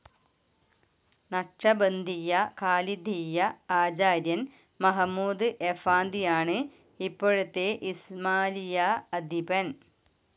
നക്ഷബന്ധിയ്യ ഖാലിദിയ്യ ആചാര്യൻ Mahmud Effendi ആണ് ഇപ്പോഴത്തെ ഇസ്മായിലിയ അധിപൻ.